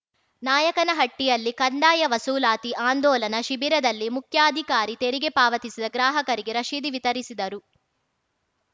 ನಾಯಕನಹಟ್ಟಿಯಲ್ಲಿ ಕಂದಾಯ ವಸೂಲಾತಿ ಆಂದೋಲನ ಶಿಬಿರದಲ್ಲಿ ಮುಖ್ಯಾಧಿಕಾರಿ ತೆರಿಗೆ ಪಾವತಿಸಿದ ಗ್ರಾಹಕರಿಗೆ ರಶೀದಿ ವಿತರಿಸಿದರು